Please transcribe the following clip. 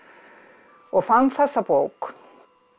og fann þessa bók